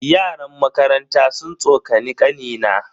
Yaran makaranta sun tsokani kanina.